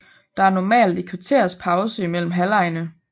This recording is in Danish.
Der er normalt et kvarters pause mellem halvlegene